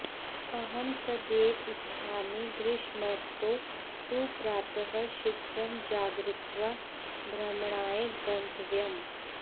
अहं सदैव इच्छामि ग्रीष्मर्तौ तु प्रातः शीघ्रं जागरित्वा भ्रमणाय गन्तव्यम्